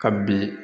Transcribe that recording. Ka bin